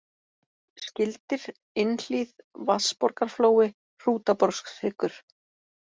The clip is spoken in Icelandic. Skildir, Innhlíð, Vatnsborgarflói, Hrútaborgshryggur